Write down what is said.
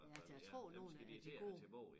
Ja jeg tror nogle af de gode